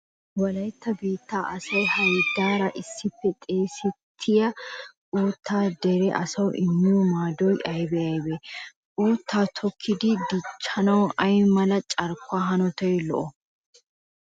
Wolaytta biittaa asaa haydaara issippe xeesettiya uuttay dere asaassi immiyo maadoy aybee aybee? Uuttaa tokkidi dichchanawu ay mala carkkuwa hanotay lo"oo?